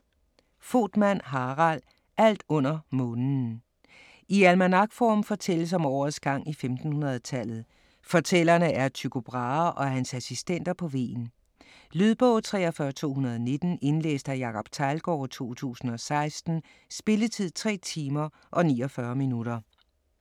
Voetmann, Harald: Alt under månen I almanakform fortælles om årets gang i 1500-tallet. Fortællerne er Tycho Brahe og hans assistenter på Hven. Lydbog 43219 Indlæst af Jacob Teglgaard, 2016. Spilletid: 3 timer, 49 minutter.